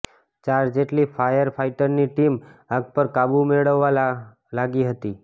ચાર જેટલી ફાયર ફાયટરની ટીમ આગ પર કાબૂ મેળવવા લાગી હતી